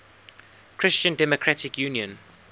christian democratic union